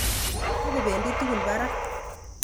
Tokebedi tugul barak